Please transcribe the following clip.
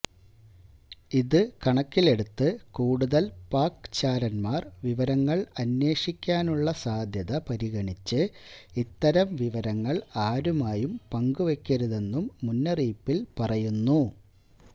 ഇത് കണക്കിലെടുത്ത് കൂടുതല് പാക് ചാരന്മാര് വിവരങ്ങള് അന്വേഷിക്കാനുള്ള സാധ്യത പരിഗണിച്ച് ഇത്തരം വിവരങ്ങള് ആരുമായും പങ്കുവെയ്ക്കരുതെന്നും മുന്നറിയിപ്പില് പറയുന്നു